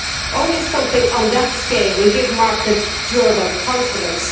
Only something on that scale will give markets durable confidence.